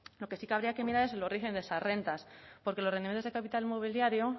lo que sí que habría que mirar es el origen de esas rentas porque los rendimientos del capital mobiliario